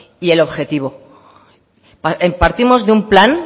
y el objetivo partimos de un plan